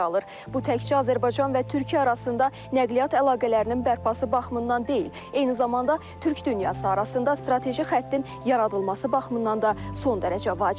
Bu təkcə Azərbaycan və Türkiyə arasında nəqliyyat əlaqələrinin bərpası baxımından deyil, eyni zamanda türk dünyası arasında strateji xəttin yaradılması baxımından da son dərəcə vacibdir.